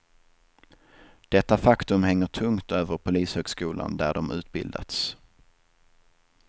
Detta faktum hänger tungt över polishögskolan där de utbildats.